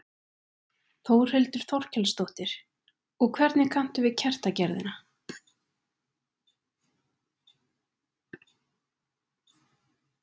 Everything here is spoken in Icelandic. Þórhildur Þorkelsdóttir: Og hvernig kanntu við kertagerðina?